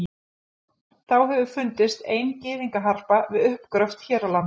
þá hefur fundist ein gyðingaharpa við uppgröft hér á landi